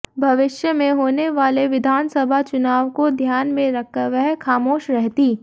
भविष्य मे होने वाले विधानसभा चुनाव को ध्यान में रखकर वह खामोश रहती